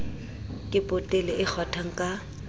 ke potele e kgwathwang ka